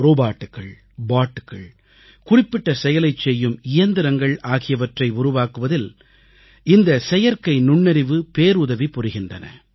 ரோபோக்கள் பாBட்டுகள் குறிப்பிட்ட செயலைச் செய்யும் இயந்திரங்கள் ஆகியவற்றை உருவாக்குவதில் இந்த செயற்கை நுண்ணறிவு பேருதவி புரிகின்றன